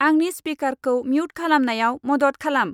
आंनि स्पिकारखौ म्युट खालामनायाव मदद खालाम।